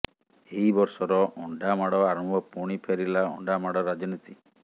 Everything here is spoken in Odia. ଏହି ବର୍ଷର ଅଣ୍ଡାମାଡ ଆରମ୍ଭ ପୁଣି ଫେରିଲା ଅଣ୍ଡାମାଡ ରାଜନୀତି